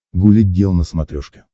гуля гел на смотрешке